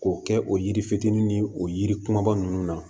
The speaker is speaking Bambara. K'o kɛ o yiri fitinin ni o yiri kumaba ninnu na